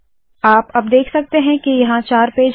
आप अब देख सकते है के यहाँ चार पेज है